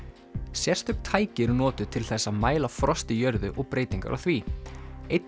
sérstök tæki eru notuð til þess að mæla frost í jörðu og breytingar á því einn